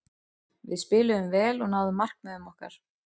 Við spiluðum vel og náðum markmiðum okkar.